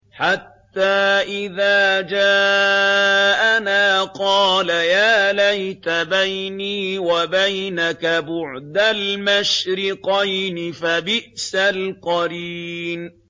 حَتَّىٰ إِذَا جَاءَنَا قَالَ يَا لَيْتَ بَيْنِي وَبَيْنَكَ بُعْدَ الْمَشْرِقَيْنِ فَبِئْسَ الْقَرِينُ